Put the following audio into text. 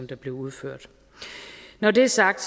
der blev udført når det er sagt